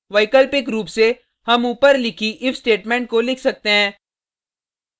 वैकल्पिक रूप से हम ऊपर लिखी if स्टेटमेंट को लिख सकते हैं